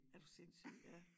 Er du sindssyg ja